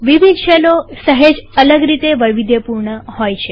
વિવિધ શેલો સહેજ અલગ રીતે વૈવિધ્યપૂર્ણ છે